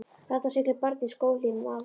Þarna siglir barn í skóhlífum afa síns.